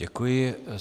Děkuji.